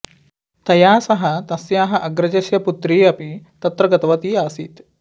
तया सह तस्याः अग्रजस्य पुत्री अपि तत्र गतवती असीत्